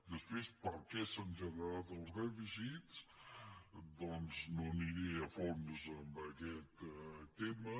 després per què s’han generat els dèficits doncs no aniré a fons en aquest tema